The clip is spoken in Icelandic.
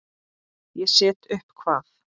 Ég set upp hvað?